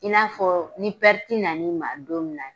I n'a fɔ ni na n'i ma don min